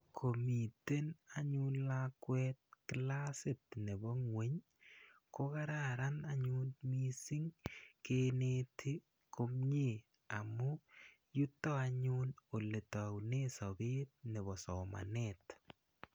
Komiten anyun lakwet klasit nepo ng'weny ko kararan anyun missing' keneti komye amu yuto anyun ole taune sapet nepo somanet.